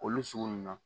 Olu sugu ninnu na